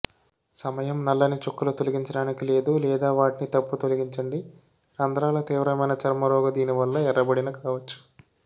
సమయం నల్లని చుక్కలు తొలగించడానికి లేదు లేదా వాటిని తప్పు తొలగించండి రంధ్రాల తీవ్రమైన చర్మరోగ దీనివల్ల ఎర్రబడిన కావచ్చు